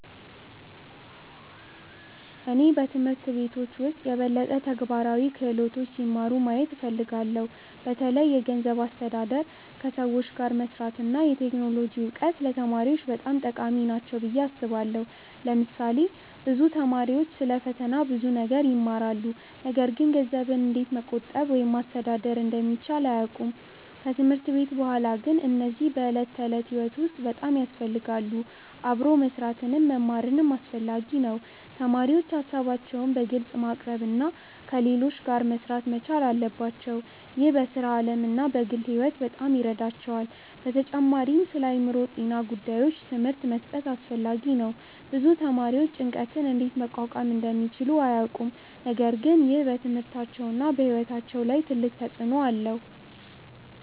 እኔ በትምህርት ቤቶች ውስጥ የበለጠ ተግባራዊ ክህሎቶች ሲማሩ ማየት እፈልጋለሁ። በተለይ የገንዘብ አስተዳደር፣ ከሰዎች ጋር መስራት እና የቴክኖሎጂ እውቀት ለተማሪዎች በጣም ጠቃሚ ናቸው ብዬ አስባለሁ። ለምሳሌ ብዙ ተማሪዎች ስለ ፈተና ብዙ ነገር ይማራሉ፣ ነገር ግን ገንዘብን እንዴት መቆጠብ ወይም ማስተዳደር እንደሚቻል አያውቁም። ከትምህርት ቤት በኋላ ግን እነዚህ በዕለት ተዕለት ሕይወት ውስጥ በጣም ያስፈልጋሉ። አብሮ መስራትንም መማርም አስፈላጊ ነው። ተማሪዎች ሀሳባቸውን በግልጽ ማቅረብ እና ከሌሎች ጋር መሥራት መቻል አለባቸው። ይህ በሥራ ዓለም እና በግል ሕይወት በጣም ይረዳቸዋል። በተጨማሪም ስለአእምሮ ጤና ጉዳዮች ትምህርት መስጠት አስፈላጊ ነው። ብዙ ተማሪዎች ጭንቀትን እንዴት መቋቋም እንደሚችሉ አያውቁም፣ ነገር ግን ይህ በትምህርታቸውና በሕይወታቸው ላይ ትልቅ ተጽእኖ አለው።